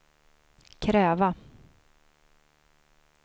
kräva